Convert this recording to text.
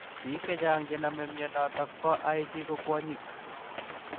Piik chechaang chenamee mianitok poo IC ko kwonyiik